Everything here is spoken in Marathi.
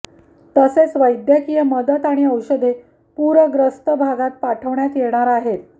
तसेच वैद्यकीय मदत आणि औषधे पूरग्रस्त भागात पाठवण्यात येणार आहेत